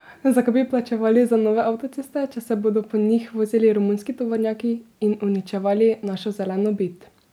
Zakaj bi plačevali za nove avtoceste, če se bodo po njih vozili romunski tovornjaki in uničevali našo zeleno bit?